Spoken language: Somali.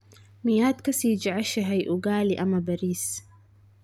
Miyaad ka sii jeceshahay ugali ama bariis?